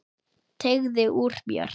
Teygði úr mér.